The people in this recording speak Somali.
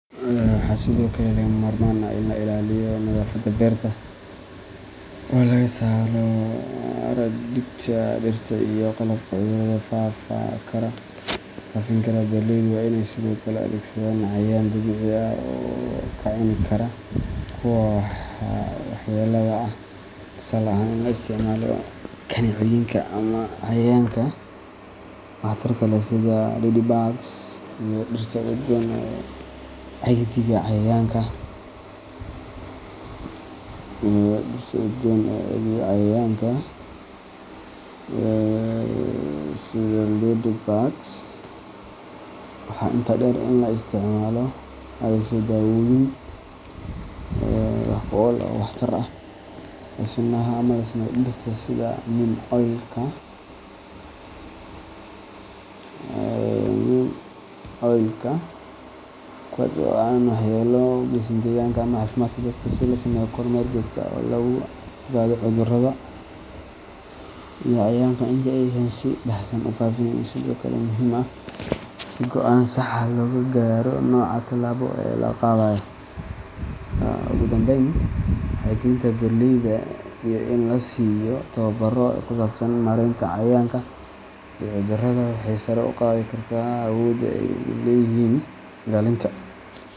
Waxaa sidoo kale lagama maarmaan ah in la ilaaliyo nadaafadda beerta, oo laga saaro haraadiga dhirta iyo qalabka cudurada faafin kara. Beeraleydu waa inay sidoo kale adeegsadaan cayayaanka dabiiciga ah ee ka cuni kara kuwa waxyeellada leh, tusaale ahaan, in la isticmaalo kaneecooyinka ama cayayaanka waxtarka leh sida ladybugs iyo dhirta udgoon ee caydhiya cayayaanka. Waxaa intaa dheer in la adeegsado daawooyin dabiici ah ama sunaha laga sameeyo dhirta sida neem oilka, kuwaas oo aan waxyeello weyn u geysan deegaanka ama caafimaadka dadka. In la sameeyo kormeer joogto ah oo lagu ogaado cudurrada iyo cayayaanka inta aysan si baahsan u faafin ayaa sidoo kale muhiim ah, si go’aan sax ah looga gaaro nooca tallaabo ee la qaadayo. Ugu dambeyn, wacyigelinta beeraleyda iyo in la siiyo tababaro ku saabsan maaraynta cayayaanka iyo cudurrada waxay sare u qaadi kartaa awoodda ay u leeyihiin ilaalinta.